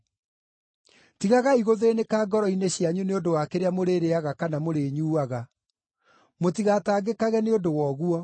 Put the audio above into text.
Tigagai gũthĩĩnĩka ngoro-inĩ cianyu nĩ ũndũ wa kĩrĩa mũrĩrĩĩaga kana mũrĩnyuuaga; mũtigatangĩkage nĩ ũndũ wa ũguo.